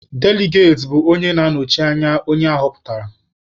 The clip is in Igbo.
Deligati bụ onye na-anọchite anya onye aghọpụtara.